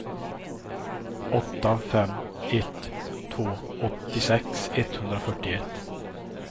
åtta fem ett två åttiosex etthundrafyrtioett